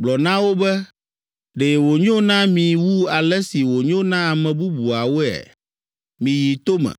Gblɔ na wo be, ‘Ɖe wònyo na mi wu ale si wònyo na ame bubuwoea? Miyi tome,